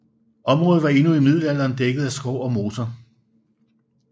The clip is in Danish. Området var endnu i middelalderen dækket af skov og moser